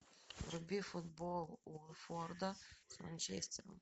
вруби футбол уотфорда с манчестером